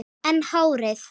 En hárið?